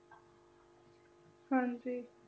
ਹਾਂਜੀ।